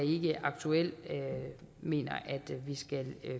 aktuelt mener vi skal